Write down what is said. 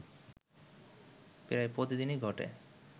প্রায় প্রতিদিনই ঘটে